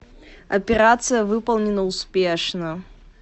операция выполнена успешно